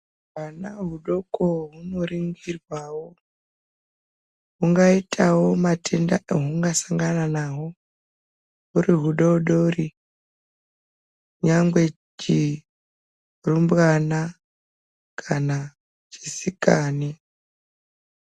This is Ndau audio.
Hwana hudoko hunoningirwawo hungaitawo hutenda hwahungasangana naho huri hudodori ungava chirumbwana kana chisikana.